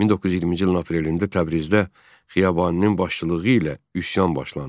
1920-ci ilin aprelində Təbrizdə Xiyabaninin başçılığı ilə üsyan başlandı.